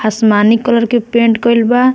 आसमानी कलर के पेंट कइल बा।